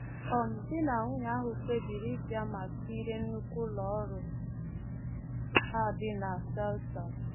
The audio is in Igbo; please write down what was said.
um Di na nwunye ahụ kpebiri ịbịa ma kirie nnukwu ụlọọrụ a dị na Selters.